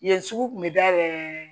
Yen sugu kun bi dayɛlɛ